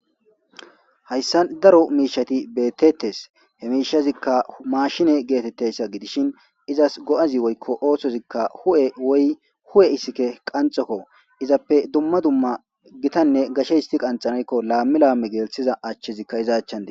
Hayssa daro miishati beettettes he miishazikka mashine geetetteyssa gidishin izas go'az woykko oosozikka hu7e woy hde.e issike qanxokko izappe dumma dumma gitanne gashe histi qanxanaykko laamme laame geelthiza achchezikka izaachan de